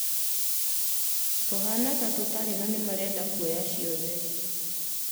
Tũhana ta tũtarĩ na marenda kuoya ciothe